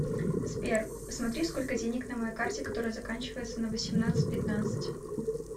сбер посмотри сколько денег на моей карте которая заканчивается на восемнадцать пятнадцать